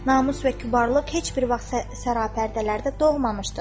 Namus və kübarlıq heç bir vaxt sərapərdələrdə doğmamışdır.